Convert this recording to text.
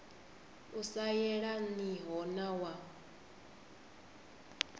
u sa yelaniho na wa